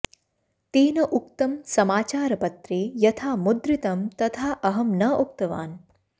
तेन उक्तं समाचारपत्रे यथा मुद्रितं तथा अहं न उक्तवान्